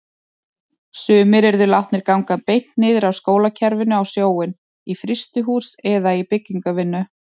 Sumir yrðu látnir ganga beint niður af skólakerfinu á sjóinn, í frystihús eða byggingarvinnu.